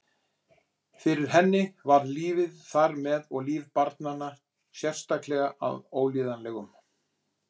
Fyrir henni varð lífið þar með og líf barna sérstaklega að Ólíðanlegum